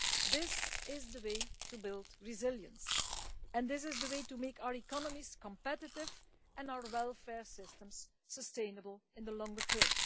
This is the way to build resilience, and this is the way to make our economies competitive and our welfare systems sustainable in the longer term.